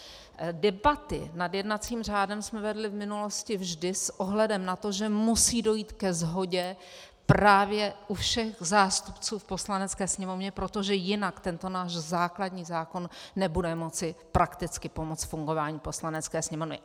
Debaty nad jednacím řádem jsme vedli v minulosti vždy s ohledem na to, že musí dojít ke shodě právě u všech zástupců v Poslanecké sněmovně, protože jinak tento náš základní zákon nebude moci prakticky pomoci fungování Poslanecké sněmovny.